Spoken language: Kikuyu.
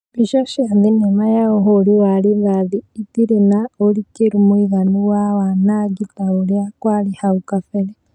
"Mbica cia thinema ya ũhũri wa rithathi itirĩ na ũrikeru mũiganu wa wanangi ta urĩa kwarĩ hau mbere